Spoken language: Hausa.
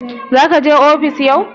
Zaka je ofis yau?